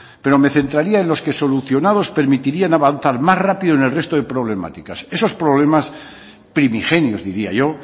pero me centraría en los que solucionados permitirían avanzar más rápido en el resto de problemáticas esos problemas primigenios diría yo